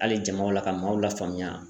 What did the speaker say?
Hali jamaw la ka maaw lafaamuya.